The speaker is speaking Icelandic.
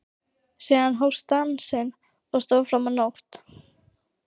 Síðan hófst dansinn og stóð fram á nótt.